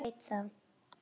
LÁRUS: Ég veit það.